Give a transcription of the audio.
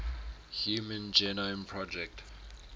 human genome project